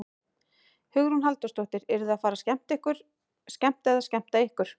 Hugrún Halldórsdóttir: Eruð þið að fara að skemmta eða skemmta ykkur?